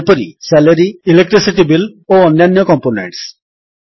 ଯେପରି SalaryElectricity bills ଓ ଅନ୍ୟାନ୍ୟ କମ୍ପୋନେଣ୍ଟସ୍